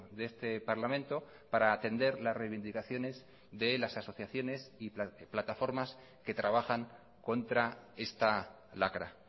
de este parlamento para atender las reivindicaciones de las asociaciones y plataformas que trabajan contra esta lacra